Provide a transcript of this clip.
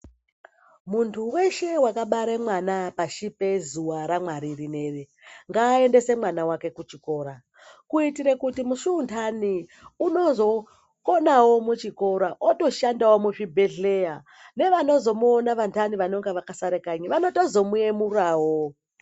Muntu weshe akabara mwana pashi pezuwa raMwari ngaendese mwana wake kuchikora kuitira kuti musi mundani unozokonawo muchikora otoshandawo muzvibhehleya vevamweni vanozomuona vandani vanenge vakasara kanyiyo vanozo muemurawo.